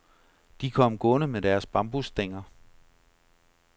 De kom gående med deres bambusstænger.